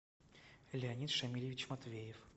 леонид шамилевич матвеев